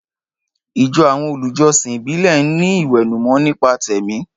Ìjọ àwọn olùjọsìn ìbílẹ̀ ń ní ìwẹ̀nùmọ́ nípa tẹ̀mí.